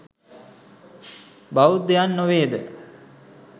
බෞද්ධයන් නොවේද?